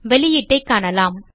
வெளியீட்டைக் காணலாம்